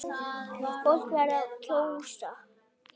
Fólk verður að kjósa!